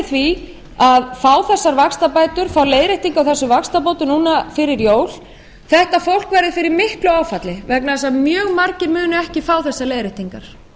því að fá þessar vaxtabætur fá leiðréttingu á þessum vaxtabótum núna fyrir jól þetta fólk verður fyrir miklu áfalli vegna þess að mjög margir munu ekki fá þessa leiðréttingar